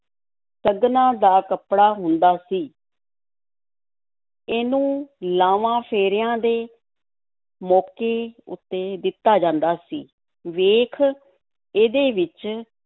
ਸਗਨਾਂ ਦਾ ਕੱਪੜਾ ਹੁੰਦਾ ਸੀ ਇਹਨੂੰ ਲਾਂਵਾਂ-ਫੇਰਿਆਂ ਦੇ ਮੌਕੇ ਉੱਤੇ ਦਿੱਤਾ ਜਾਂਦਾ ਸੀ ਵੇਖ, ਇਹਦੇ ਵਿੱਚ